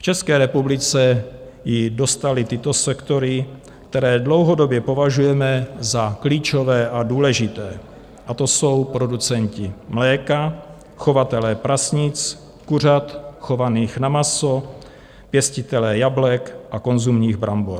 V České republice ji dostaly tyto sektory, které dlouhodobě považujeme za klíčové a důležité, a to jsou producenti mléka, chovatelé prasnic, kuřat chovaných na maso, pěstitelé jablek a konzumních brambor.